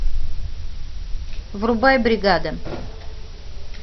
врубай бригада